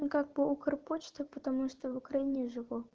ну как по укрпочте потому что я в украине живу